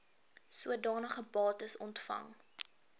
sodanige bates ontvang